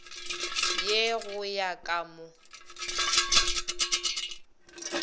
ye go ya ka mo